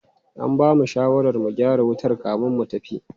An bamu shawarar mu gyara wutar kamin mu tafi.